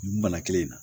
Bana kelen in na